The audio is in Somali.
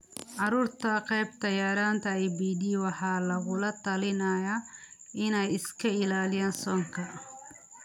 Carruurta qabta yaraanta IBD waxaa lagula talinayaa inay iska ilaaliyaan soonka.